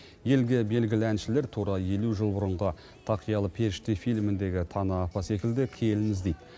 елге белгілі әншілер тура елу жыл бұрынғы тақиялы періште фильміндегі тана апа секілді келін іздейді